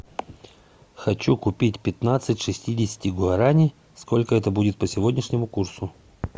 хочу купить пятнадцать шестидесяти гуарани сколько это будет по сегодняшнему курсу